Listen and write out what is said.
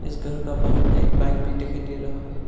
इस घर का बाहर में एक बाइक भी दिखाई दे रहा है।